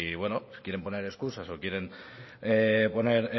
quieren poner escusas o quieren poner